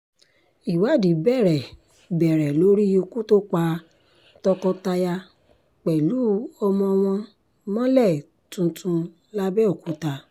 ìwádìí bẹ̀rẹ̀ bẹ̀rẹ̀ lórí ikú tó pa tọkọ-taya pẹ̀lú ọmọ wọn mọ́lẹ̀ tuntun làbẹ́òkúta